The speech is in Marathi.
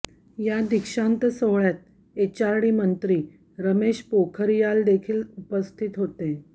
या दीक्षांत सोहळ्यात एचआरडी मंत्री रमेश पोखरियालदेखील उपस्थित होते